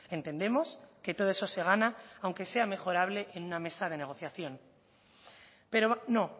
entendemos que todo eso se gana aunque sea mejorable en una mesa de negociación pero no